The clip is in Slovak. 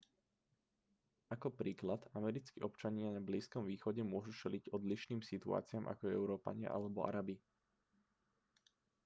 ako príklad americkí občania na blízkom východe môžu čeliť odlišným situáciám ako európania alebo arabi